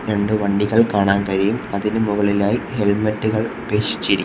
രണ്ടു വണ്ടികൾ കാണാൻ കഴിയും അതിനു മുകളിലായി ഹെൽമെറ്റുകൾ ഉപേക്ഷിച്ചിരി--